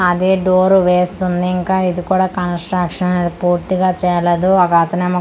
అదే డోరు వేస్తుంది ఇంకా ఇది కూడా కంస్ట్రక్షన్ ఇది పూర్తిగా చేయ్యలేదు అగో అతనేమొ కాల్ మీద కాల్ .